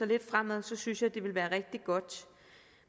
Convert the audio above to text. lidt fremad så synes jeg at det vil være rigtig godt